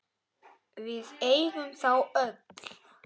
Við eigum þá öll.